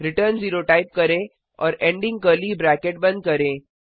return 0 type करें और ending curly bracket बंद करें